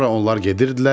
Sonra onlar gedirdilər.